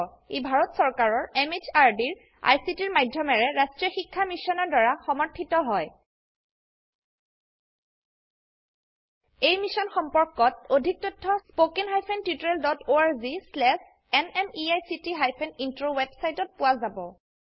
ই ভাৰত চৰকাৰৰ MHRDৰ ICTৰ মাধয়মেৰে ৰাস্ত্ৰীয় শিক্ষা মিছনৰ দ্ৱাৰা সমৰ্থিত হয় এই মিশ্যন সম্পৰ্কত অধিক তথ্য spoken hyphen tutorial dot org slash এনএমইআইচিত হাইফেন ইন্ট্ৰ ৱেবচাইটত পোৱা যাব